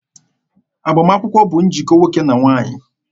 Agbamakwụkwọ bụ njikọ nwoke na nwaanyị.